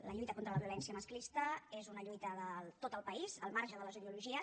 la lluita contra la violència masclista és una lluita de tot el país al marge de les ideologies